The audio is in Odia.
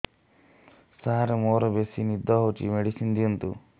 ସାର ମୋରୋ ବେସି ନିଦ ହଉଚି ମେଡିସିନ ଦିଅନ୍ତୁ